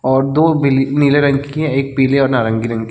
और दो बिले नीले रंग की हैं एक पीले और नारंगी रंग की है।